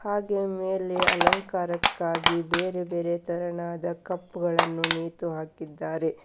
ಹಾಗೆ ಮೇಲೆ ಅಲಂಕಾರಕ್ಕಾಗಿ ಬೇರೆ ಬೇರೆ ತರನಾದ ಕಪ್ ಗಳನ್ನು ನೇತು ಹಾಕಿದ್ದಾರೆ.